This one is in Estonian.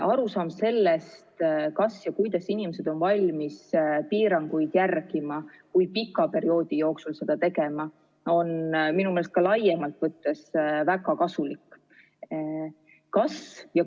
Arusaam sellest, kuidas inimesed on valmis piiranguid järgima, kui pika perioodi jooksul seda tegema, on minu meelest ka laiemalt võttes väga vajalik.